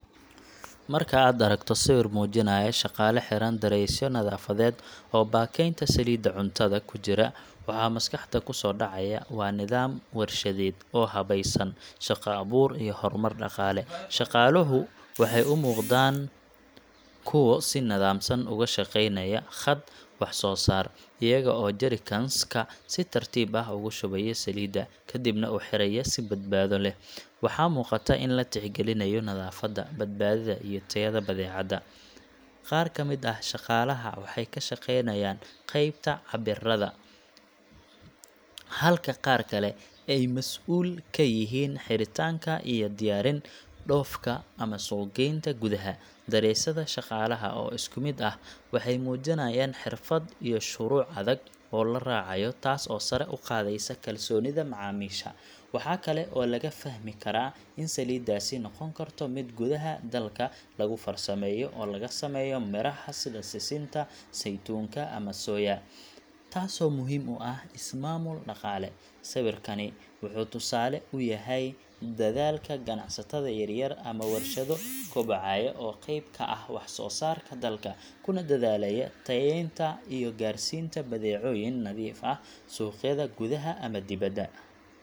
Marka aad aragto sawir muujinaya shaqaale xiran dareesyo nadaafadeed oo baakaynta saliidda cuntada ku jira, waxa maskaxda ku soo dhacaya waa nidaam warshadeed oo habaysan, shaqo abuur iyo horumar dhaqaale. Shaqaaluhu waxay u muuqdaan kuwo si nidaamsan uga shaqaynaya khad wax-soo-saar, iyaga oo jerrycans ka si tartiib ah ugu shubaya saliid, kadibna u xiraya si badbaado leh. Waxaa muuqata in la tixgelinayo nadaafadda, badbaadada, iyo tayada badeecadda. Qaar ka mid ah shaqaalaha waxay ka shaqeynayaan qeybta cabbiraadda, halka qaar kale ay mas'uul ka yihiin xiritaanka iyo diyaarin dhoofka ama suuq-geynta gudaha. Dareesyada shaqaalaha oo isku mid ah waxay muujinayaan xirfad iyo shuruuc adag oo la raacayo, taas oo sare u qaadaysa kalsoonida macaamiisha. Waxaa kale oo laga fahmi karaa in saliiddaasi noqon karto mid gudaha dalka lagu farsameeyo oo laga sameeyo miraha sida sisinta, saytuunka, ama soya, taasoo muhiim u ah is-maamul dhaqaale. Sawirkani wuxuu tusaale u yahay dadaalka ganacsatada yaryar ama warshado kobcaya oo qeyb ka ah wax-soosaarka dalka, kuna dadaalaya tayeynta iyo gaarsiinta badeecooyin nadiif ah suuqyada gudaha ama dibadda.